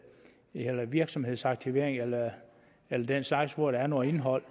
virksomhedsaktivering eller den slags hvor der er noget indhold